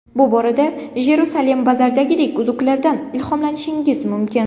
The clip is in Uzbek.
Bu borada JerusalemBazar’dagidek uzuklardan ilhomlanishingiz mumkin.